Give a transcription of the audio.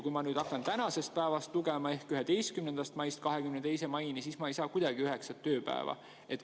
Kui ma nüüd hakkan tänasest päevast lugema ehk 11. maist 22. maini, siis ma ei saa kuidagi üheksat tööpäeva.